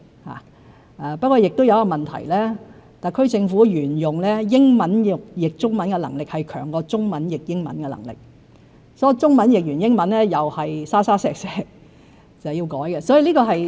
不過，特區政府亦有一個問題，一直以來把英文翻譯成中文的能力較把中文翻譯成英文的能力強，當中文譯成英文後亦充滿"沙沙石石"，需要再作修改。